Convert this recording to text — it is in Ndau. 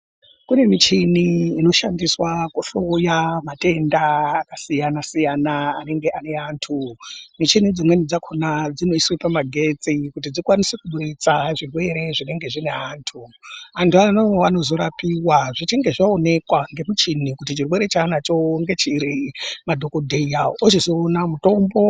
Kune michini inoshandiswa kuhloya matenda akasiyana-siyana anenge ane antu. Michini dzimweni dzakhona dzinoswe pamagetsi kuti dzikwanise kubudisa zvirwere zvinenge zvine antu. Antu ano anozorapiwa zvichinge zvaonekwa ngemuchini kuti chirwere chanacho ngechiri madhogodheya ochizoona mutombo.